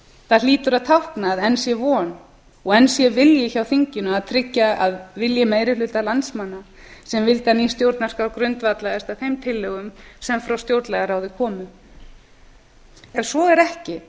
það hlýtur að tákna að enn sé von og enn sé vilji hjá þinginu að tryggja að vilji meiri hluta landsmanna sem vildi að ný stjórnarskrá grundvallaðist á þeim tillögum sem frá stjórnlagaráði komu ef svo er ekki